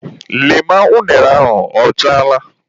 Lee ma unere ahụ ọchaala!.